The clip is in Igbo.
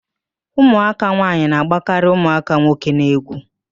Ụmụaka nwaanyị na-agbakarị ụmụaka nwoke n'egwu